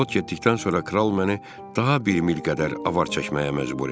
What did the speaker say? Parxod getdikdən sonra kral məni daha bir mil qədər avar çəkməyə məcbur etdi.